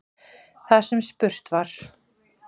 Þar sem spurt var